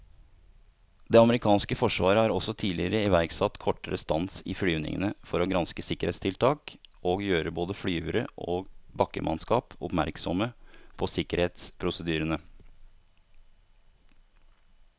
Det amerikanske forsvaret har også tidligere iverksatt kortere stans i flyvningene for å granske sikkerhetstiltak og gjøre både flyvere og bakkemannskap oppmerksomme på sikkerhetsprosedyrene.